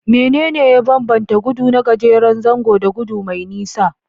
Menene ya bambanta gudu na gajeren zango da gudu mai nisa?